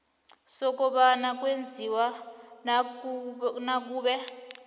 sokobana kwenziwani nakube